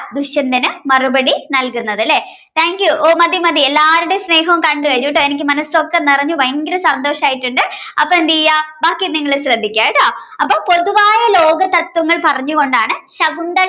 ദുഷ്യന്തന് മറുപടി നൽകുന്നത് അല്ലെ thank you ഓ മതി മതി എല്ലാരുടേം സ്നേഹോം കണ്ടു കഴിഞ്ഞിട്ടോഎനിക്ക് മനസ്സൊക്കെ നിറഞ്ഞു ഭയങ്കര സന്തോഷായിട്ടുണ്ട് അപ്പൊ എന്തെയ്യാ ബാക്കി നിങ്ങള് ശ്രദ്ദിക്കാ ട്ടോ. അപ്പൊ പൊതുവായ ലോകതത്ത്വങ്ങൾ പറഞ്ഞു കൊണ്ടാണ് ശകുന്തള